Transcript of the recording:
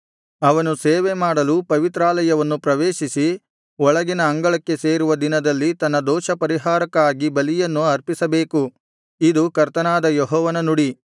ಅವನು ಸೇವೆಮಾಡಲು ಪವಿತ್ರಾಲಯವನ್ನು ಪ್ರವೇಶಿಸಿ ಒಳಗಿನ ಅಂಗಳಕ್ಕೆ ಸೇರುವ ದಿನದಲ್ಲಿ ತನ್ನ ದೋಷಪರಿಹಾರಕ್ಕಾಗಿ ಬಲಿಯನ್ನು ಅರ್ಪಿಸಬೇಕು ಇದು ಕರ್ತನಾದ ಯೆಹೋವನ ನುಡಿ